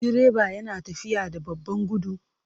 Direba yana tafiya da babban gudu?